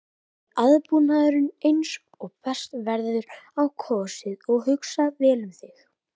Er aðbúnaðurinn eins og best verður á kosið og hugsað vel um þig?